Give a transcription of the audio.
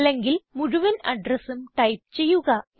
അല്ലെങ്കിൽ മുഴുവൻ അഡ്രസും ടൈപ്പ് ചെയ്യുക